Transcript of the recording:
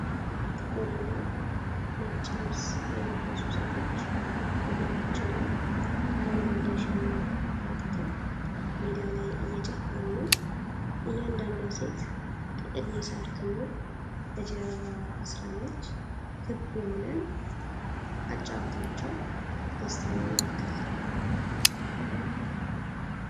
ጥቁርና ነጭ ልብስ የለበሱ ሴቶች ወገባቸው ላይ አረንጓዴ ሸማ አውጥተው ሜዳ ላይ እየጨፈሩ ነው። እያንዳንዷ ሴት ጥቅል የሳር ክምር በጀርባዋ አስራለች። ክብ የሆነ አጨዋወታቸው ደስታን ያመለክታል።